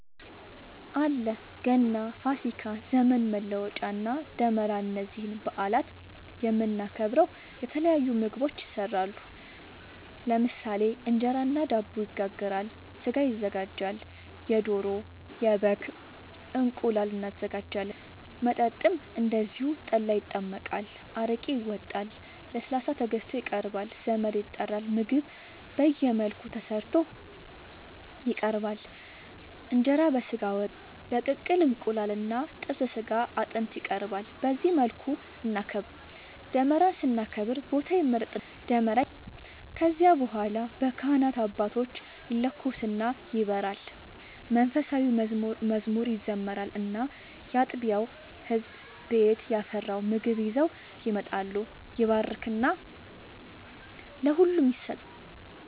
አለ ገና፣ ፋሲካ፣ ዘመን መለወጫ እና ደመራ እነዚህን በአላት የምናከብረው የተለያዩ ምግቦች ይሰራሉ ለምሳሌ እንጀራ እና ዳቦ ይጋገራል፣ ስጋ ይዘጋጃል የዶሮ፣ የበግም፣ እንቁላል እናዘጋጃለን። መጠጥም እንደዚሁ ጠላ ይጠመቃል፣ አረቄ ይወጣል፣ ለስላሳ ተገዝቶ ይቀርባል ዘመድ ይጠራል ምግብ በየመልኩ ተሰርቶ ይቀርባል እንጀራ በስጋ ወጥ፣ በቅቅል እንቁላል እና ጥብስ ስጋ አጥንት ይቀርባል በዚህ መልኩ እናከብራለን። ደመራን ስናከብር ቦታ ይመረጥና ደመራ ይተከላል ከዚያ በኋላ በካህናት አባቶች ይለኮስና ይበራል መንፉሳዊ መዝሙር ይዘመራል እና ያጥቢያው ህዝብ ቤት ያፈራውን ምግብ ይዘው ይመጣሉ ይባረክና ለሁሉም ይሰጣል።